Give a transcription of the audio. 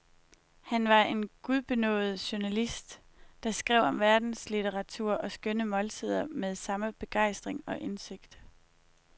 Han var en gudbenådet journalist, der skrev om verdenslitteratur og skønne måltider med samme begejstring og indsigt.